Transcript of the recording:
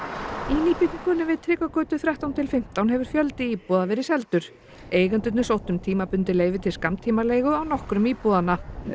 nýbyggingunni við Tryggvagötu þrettán til fimmtán hefur fjöldi íbúða verið seldur eigendurnir sóttu um tímabundið leyfi til skammtímaleigu á nokkrum íbúðanna